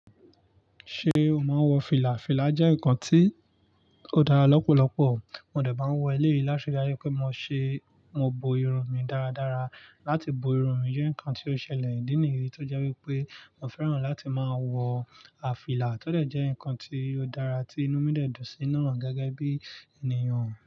Ṣé o máa ń wọ fìlà? Fìlà jẹ́ nǹkan tí ó dára lọ́pọ̀lọpọ̀. Mo dẹ̀ bá ń wọ eléyìí láṣẹ́-ayẹ pé mo ṣe, mo bo irun mi dáradára. Láti bo irun mi jẹ́ nǹkan tí ó ṣẹlẹ̀ ìdí nìyí tó jẹ́ wípé mo fẹ́ràn láti máa wọ a fìlà tọ dẹ̀ jẹ́ nǹkan tí ó dára tí inú mi dẹ̀ dùn sí náà gẹ́gẹ́ bí ènìyàn.